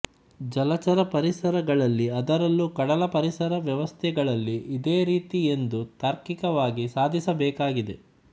ಜಲಚರ ಪರಿಸರ ಗಳಲ್ಲಿ ಅದರಲ್ಲೂ ಕಡಲ ಪರಿಸರ ವ್ಯವಸ್ಥೆಗಳಲ್ಲಿ ಇದೇ ರೀತಿ ಎಂದು ತಾರ್ಕಿಕವಾಗಿ ಸಾಧಿಸಬೇಕಾಗಿದೆ